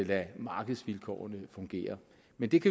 lade markedsvilkårene fungere men det kan